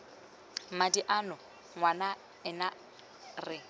madi ano ngwana ena re